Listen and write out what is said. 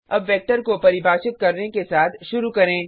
अब वेक्टर को परिभाषित करने के साथ शुरू करें